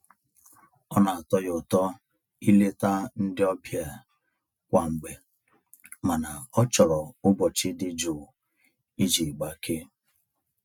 Ọ na-atọ ya ụtọ ileta ndị ọbịa kwa mgbe mana ọ chọrọ ụbọchị dị jụụ iji gbakee.